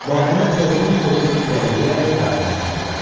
Bahirə oğrun-oğrun irəliləyərək daxmaya girdi.